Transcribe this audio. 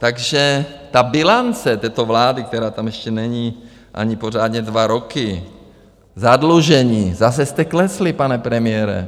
Takže ta bilance této vlády, která tam ještě není ani pořádně dva roky, zadlužení, zase jste klesli, pane premiére.